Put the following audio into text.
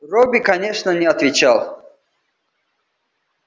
робби конечно не отвечал